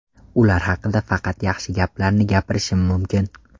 Ular haqida faqat yaxshi gaplarni gapirishim mumkin.